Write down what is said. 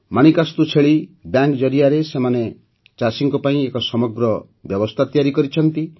ମାଣିକାସ୍ତୁ ଛେଳି ବ୍ୟାଙ୍କ ଜରିଆରେ ସେମାନେ ଚାଷୀଙ୍କ ପାଇଁ ଏକ ସମଗ୍ର ବ୍ୟବସ୍ଥା ତିଆରି କରିଛନ୍ତି